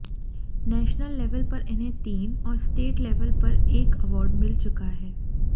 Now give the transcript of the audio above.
national level पर इन्हें तीन और स्टेट लेवल पर एक अवॉर्ड मिल चुका हैं